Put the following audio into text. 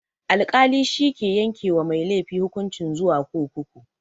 Alkali shike yanke wa mai laifi hukunci zuwa kurkuku.